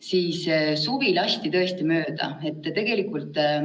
Esimene riigieksamiaeg on juba vähem kui kuu aja pärast: 19. aprillil peaks toimuma eesti keele riigieksam.